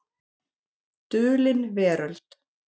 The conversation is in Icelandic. Dulin Veröld.